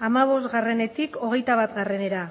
hamabostetik hogeita batra